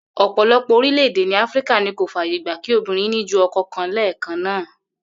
Ò̩pò̩lo̩pò̩ orílè̩-èdè ní Áfíríkà ni kò fàyè gba kí obìnrin ní ju o̩ko̩ kan lé̩è̩kan náà